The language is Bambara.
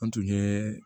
An tun ye